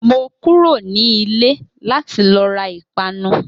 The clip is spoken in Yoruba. Mo kúrò ní ilẹ̀ láti lo ra Ìpanu